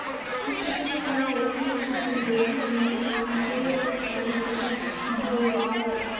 деп тәкежан жағына осындай сыбыс сөздерін де жөнелтіп жатқан сол орайда қалаға келген күнту оязға барып